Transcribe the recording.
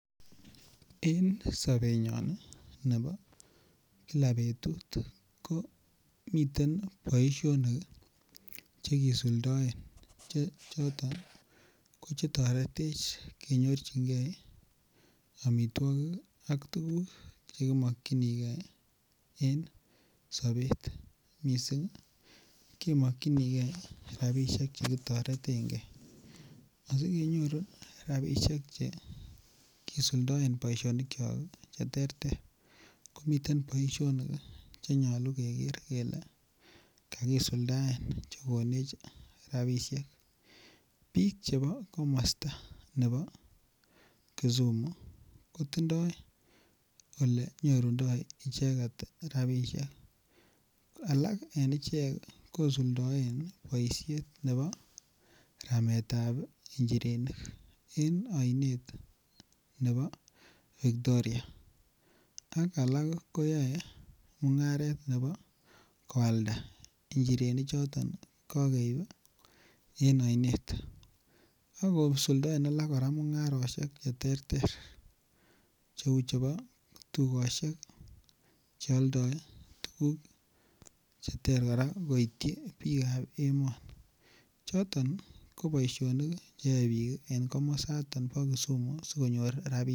En sobenyon nebo kila betut ko miten boisionik Che kisuldaen Che toretech kenyorun amitwogik ak tuguk Che ki mokyinigei en sobet mising Ke mokyinigei rabisiek Che ki toreten ge asi kenyorun rabisiek Che kisuldaen boisionikyok Che terter komiten boisionik Che nyolu keger kele kakisuldaen Che konech rabisiek bik Che bo komosta nebo kisumu kotindoi Ole nyorundoi icheget rabisiek alak en ichek kosuldaen boisiet nebo rametetab njirenik en oinet nebo Victoria ak Alak ko yoe mungaret nebo koalda njirenichoto en oinet ak kosuldaen kora alak mungarosiek Che terter Cheu chebo tukosiek Che aldoi tuguk Che terter koityi bikab emet choton ko boisionik Che yae bik en komosaton bo kisumu asi konyor rabisiek